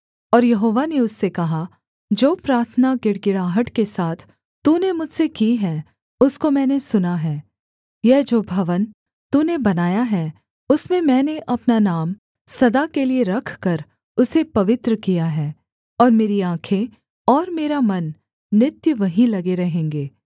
और यहोवा ने उससे कहा जो प्रार्थना गिड़गिड़ाहट के साथ तूने मुझसे की है उसको मैंने सुना है यह जो भवन तूने बनाया है उसमें मैंने अपना नाम सदा के लिये रखकर उसे पवित्र किया है और मेरी आँखें और मेरा मन नित्य वहीं लगे रहेंगे